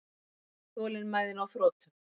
Þolinmæðin á þrotum.